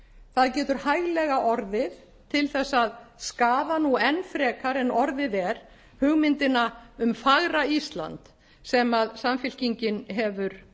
það getur hæglega orðið til þess að skaða nú enn frekar en orðið er hugmyndina um fagra ísland sem samfylkingin hefur